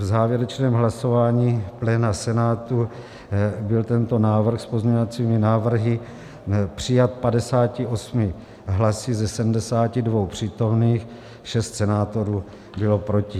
V závěrečném hlasování pléna Senátu byl tento návrh s pozměňovacími návrhy přijat 58 hlasy ze 72 přítomných, 6 senátorů bylo proti.